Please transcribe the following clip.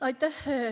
Aitäh!